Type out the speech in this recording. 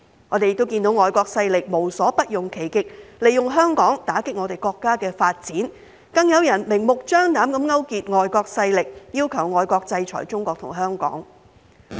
我們看到外國勢力無所不用其極，利用香港打擊我們國家的發展，更有人明目張膽地勾結外國勢力，要求外國制裁中國和香港。